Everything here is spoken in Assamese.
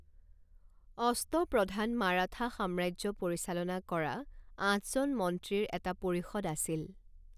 অষ্টপ্ৰধান মাৰাঠা সাম্ৰাজ্য পৰিচালনা কৰা আঠজন মন্ত্ৰীৰ এটা পৰিষদ আছিল।